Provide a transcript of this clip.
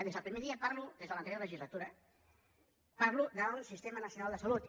des del primer dia parlo des de l’anterior legislatura en parlo d’un sistema nacional de salut